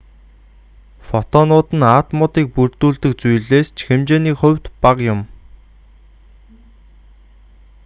фотонууд нь атомуудыг бүрдүүлдэг зүйлээс ч хэмжээний хувьд бага юм